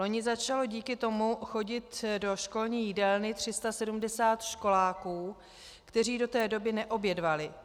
Loni začalo díky tomu chodit do školní jídelny 370 školáků, kteří do té doby neobědvali.